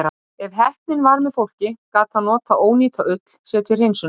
Ef heppnin var með fólki, gat það notað ónýta ull sér til hreinsunar.